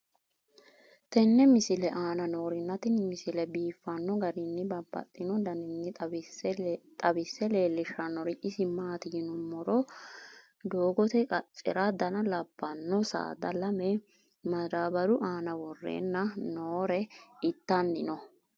tenne misile aana noorina tini misile biiffanno garinni babaxxinno daniinni xawisse leelishanori isi maati yinummoro dooiqacera Dana labbanno saada lame madaabaru aanna worrenna noore ittanni noo